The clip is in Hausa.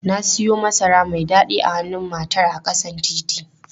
Na siyo masara mai dadi a hannun matar a ƙasan titi.